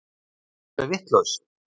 Ertu alveg vitlaus!